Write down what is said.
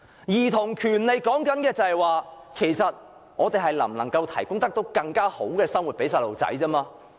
兒童權利所說的，是我們能否為兒童提供更好的生活。